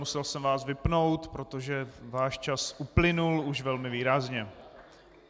Musel jsem vás vypnout, protože váš čas uplynul už velmi výrazně.